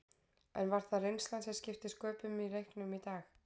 En var það reynslan sem skipti sköpum í leiknum í dag?